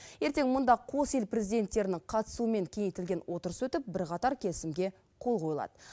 ертең мұнда қос ел президенттерінің қатысуымен кеңейтілген отырыс өтіп бірқатар келісімге қол қойылады